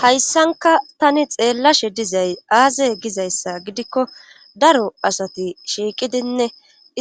hayssanka tani xeellashe dizay aazey gizayssa gidikko daro asati shiiqidinne